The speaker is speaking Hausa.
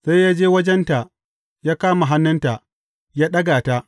Sai ya je wajenta, ya kama hannunta, ya ɗaga ta.